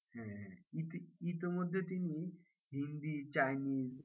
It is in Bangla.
হ্যাঁ হ্যাঁ ইতি ইতিমধ্যে তিনি হিন্দি, চাইনিস, আর,